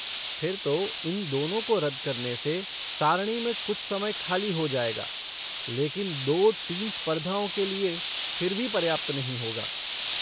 फिर तो इन दोनों को रद्द करने से सारणी में कुछ समय खाली हो जाएगा, लेकिन दो टीम स्पर्धाओं के लिए फिर भी पर्याप्त नहीं होगा।